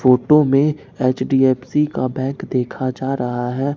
Photo में HDFC का bank देखा जा रहा है।